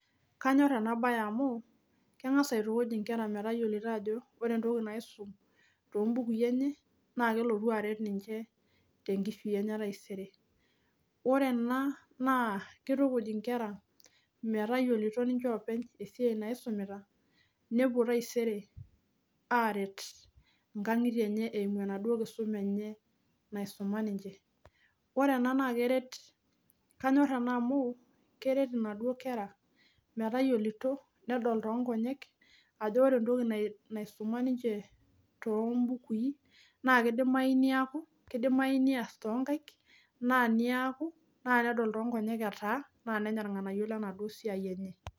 Kanyor ena baye amu, kengas aitukuj inkera metayiolito ajo wore entoki naisum toombukui enye, naa kelotu aret ninche tenkishui enye etaisere. Wore ena naa kitukuj inkera metayiolito ninche oopeny esiai naisumita, nepuo taisere aaret inkangitie enye eimu enaduo kisuma naisuma ninche. Wore ena naa keret, kanyor ena amu keret inaduo kera metayiolito nedol toonkonyek ajo wore entoki naisuma ninche toombukui, naa keidimai neeku, keidimai neas toonkaik, naa neaku, naa nedol toonkonyek etaa, ambaka nenya ilnganayio lenaduo siai enye.